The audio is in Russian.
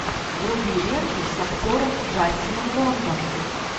вруби ленту с актером джастином лонгом